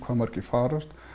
margir farast